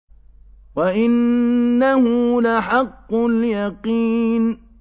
وَإِنَّهُ لَحَقُّ الْيَقِينِ